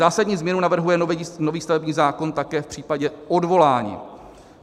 Zásadní změnu navrhuje nový stavební zákon také v případě odvolání.